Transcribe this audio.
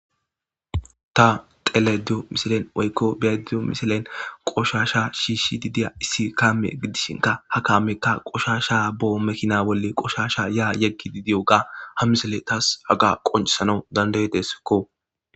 Ta xelayidda deyewu misileyi qoahshasha shishidi dewu issi kameyi dishinka ha kameyika qoshasha bo mekina bolli ha kameka qoshsha makina bolli ya yegidi dewuga ha misileyi tassi qoncisesiko